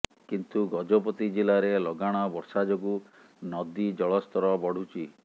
କିନ୍ତୁ ଗଜପତି ଜିଲ୍ଲାରେ ଲଗାଣ ବର୍ଷା ଯୋଗୁ ନଦୀ ଜଳସ୍ତର ବଢୁଛି